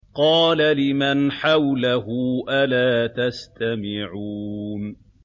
قَالَ لِمَنْ حَوْلَهُ أَلَا تَسْتَمِعُونَ